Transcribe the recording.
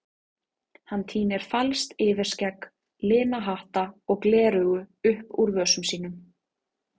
Hann tínir falskt yfirskegg, lina hatta og gleraugu upp úr vösum sínum.